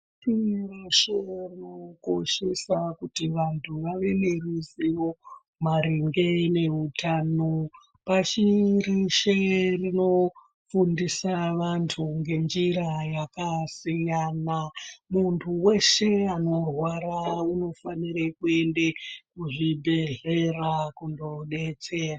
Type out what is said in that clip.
Pashi reshe rinokoshesa kuti vantu vave neruzivo maringe neutano. Pashi reshe rinofundisa vantu ngenjira yakasiyana. Muntu veshe anorwara anofanire kuende kuzvibhedhlera kundobetserwa.